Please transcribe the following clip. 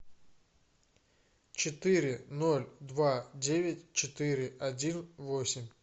четыре ноль два девять четыре один восемь